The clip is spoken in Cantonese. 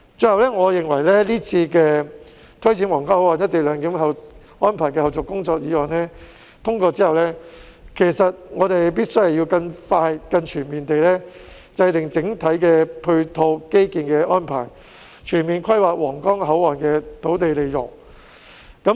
最後，我認為這項有關推展皇崗口岸「一地兩檢」安排的後續工作的議案通過後，我們必須更快、更全面地制訂整體的基建配套安排，全面規劃皇崗口岸的土地利用。